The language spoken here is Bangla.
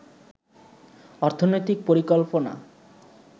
অর্থনৈতিক পরিকল্পনা